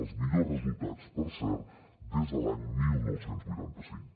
els millors resultats per cert des de l’any dinou vuitanta cinc